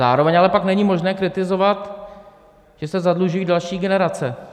Zároveň ale pak není možné kritizovat, když se zadlužují další generace.